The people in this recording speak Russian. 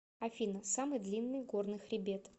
афина самый длинный горный хребет